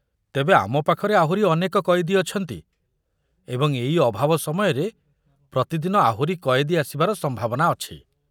ତେବେ ଆମ ପାଖରେ ଆହୁରି ଅନେକ କଏଦୀ ଅଛନ୍ତି ଏବଂ ଏଇ ଅଭାବ ସମୟରେ ପ୍ରତିଦିନ ଆହୁରି କଏଦୀ ଆସିବାର ସମ୍ଭାବନା ଅଛି।